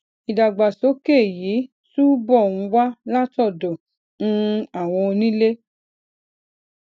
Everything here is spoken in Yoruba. ìdàgbàsókè yìí túbò ń wá látòdò um àwọn onílé